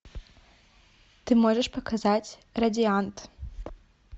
ты можешь показать радиант